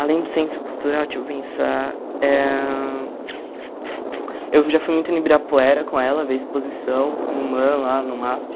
Além do centro cultural, deixa eu pensar eh... Eu já fui muito no Ibirapuera com ela, ver exposição no MAM, lá no MASP.